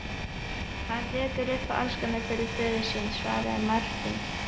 Hann tekur upp hanskann fyrir föður sinn, svaraði Marteinn.